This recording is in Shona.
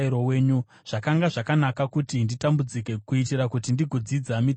Zvakanga zvakanaka kuti nditambudzike, kuitira kuti ndigodzidza mitemo yenyu.